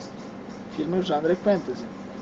фильмы в жанре фэнтези